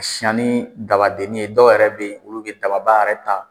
Siyan ni dabadennin ye dɔw yɛrɛ bɛ ye olu bɛ dababa yɛrɛ ta.